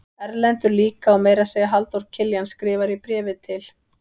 Erlendur líka og meira að segja Halldór Kiljan skrifar í bréfi til